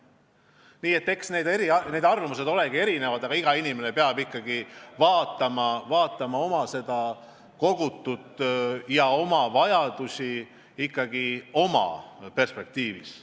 Nii et arvamused on erinevad, iga inimene peab vaatama, mis tal kogutud on, ja arvestama oma vajadusi kaugemas perspektiivis.